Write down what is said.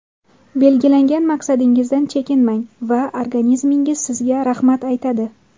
Belgilangan maqsadingizdan chekinmang va organizmingiz sizga rahmat aytadi!